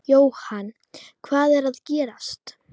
Jóhann, hvað er að gerast?